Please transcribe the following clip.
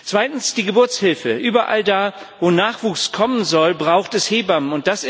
Zweitens die Geburtshilfe Überall da, wo Nachwuchs kommen soll, braucht es Hebammen.